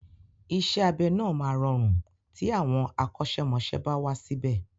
Isẹ́ abẹ náà máa rọrùn tí àwọn akọ́ṣẹ́mọsẹ́ bá wà síbè.